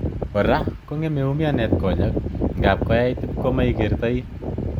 Kora, kongeme umianet konyek, ngapkoyait ipko maikertoi.